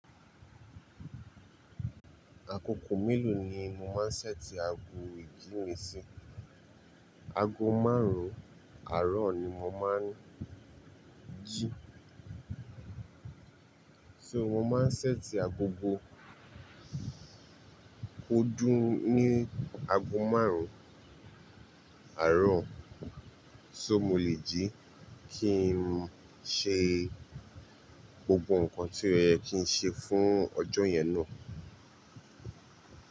Àkókò mélòó ni mo máa ń ṣẹ́ti aago ìjí mi sí? Aago márùn-ún àárọ̀ ni mo máa ń jí. So mo máa ń ṣẹ́ti agogo kó dún ní aago márùn-ún àárọ̀, so mo lè jí kí n ṣe gbogbo nǹkan tí ó yẹ kí n ṣe fún ọjọ́ yẹn náà.